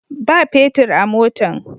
Ba petir a motan.